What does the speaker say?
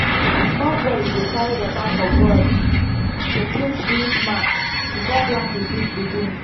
small boys dey carry water for gourd to clean spirit mark before planting fit begin.